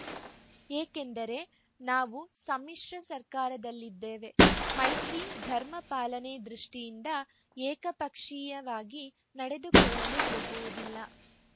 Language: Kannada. ಏಕೆಂದರೆ ನಾವು ಸಮ್ಮಿಶ್ರ ಸರ್ಕಾರದಲ್ಲಿದ್ದೇವೆ ಮೈತ್ರಿ ಧರ್ಮ ಪಾಲನೆ ದೃಷ್ಟಿಯಿಂದ ಏಕಪಕ್ಷೀಯವಾಗಿ ನಡೆದುಕೊಳ್ಳಲು ಹೋಗುವುದಿಲ್ಲ